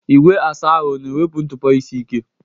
Igwe asa ahụ ọ na-ewepụ ntụpọ isi ike?